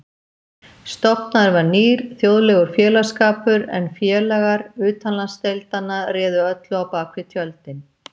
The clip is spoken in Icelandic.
Stofnaður var nýr, þjóðlegur félagsskapur, en félagar utanlandsdeildanna réðu öllu á bak við tjöldin.